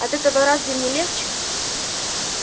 от этого разве мне легче